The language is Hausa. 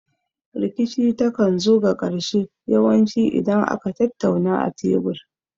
Rikici ta kan zo ga ƙarshe yawan ci idan aka tattauna a tebur